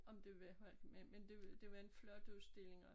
Om det var for én men men det var det var en flot udstilling